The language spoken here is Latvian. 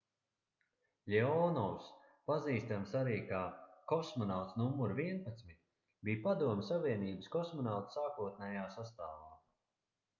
ļeonovs pazīstams arī kā kosmonauts nr 11 bija padomju savienības kosmonautu sākotnējā sastāvā